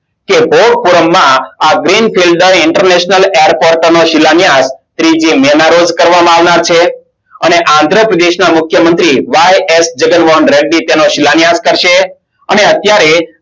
કે ભોલપુરાણમાં આ અને આંદ્રપ્રદેશના મુખ્ય મંત્રી YS જગન્નનાથ અને અત્યરે